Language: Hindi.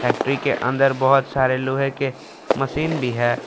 फैक्ट्री के अंदर बहुत सारे लोहे के मशीन भी है।